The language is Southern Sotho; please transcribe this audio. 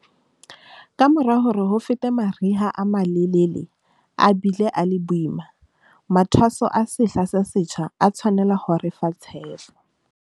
Kamora hore ho fete mari ha a malelele a bile a le boima, mathwaso a sehla se setjha a tshwanela ho re fa tshepo.